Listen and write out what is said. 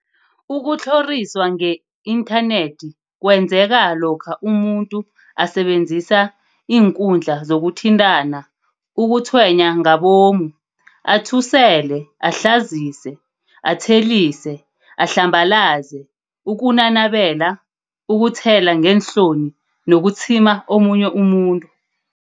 Ukutlhoriswa nge-inthanethi kwenzeka lokha umuntu asebenzisa iinkundla zokuthintana ukutshwenya ngabomu, athusele, ahlazise, athelise, ahlambalaze, ukunanabela, ukuthela ngeenhloni nokutshima omunye umuntu.